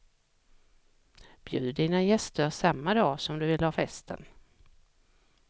Bjud dina gäster samma dag som du vill ha festen.